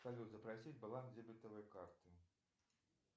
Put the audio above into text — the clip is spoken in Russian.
салют запросить баланс дебетовой карты